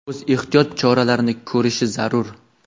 o‘z ehtiyot choralarini ko‘rishi zarur.